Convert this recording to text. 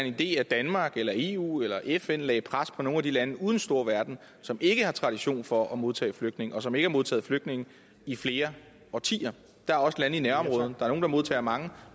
i at danmark eller eu eller fn lagde pres på nogle af de lande ude i den store verden som ikke har tradition for at modtage flygtninge og som ikke har modtaget flygtninge i flere årtier der er også lande i nærområderne der er nogle der modtager mange